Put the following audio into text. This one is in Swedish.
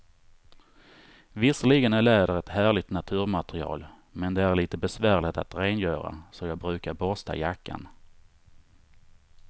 Visserligen är läder ett härligt naturmaterial, men det är lite besvärligt att rengöra, så jag brukar borsta jackan.